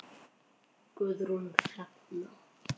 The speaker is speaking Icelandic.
Guðrún Hrefna.